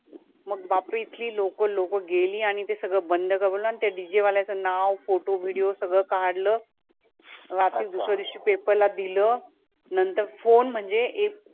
मग बापरे इथली लोकं लोकं गेली आणि ते सगळं बंद करवलं आणि त्या DJ वाल्याचं नाव, photo, video सगळं काढलं आणि दुसऱ्या दिवशी paper ला दिलं, नंतर phone म्हणजे एक